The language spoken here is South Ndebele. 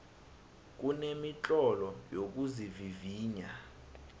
kunemitlolo yokuzivivinya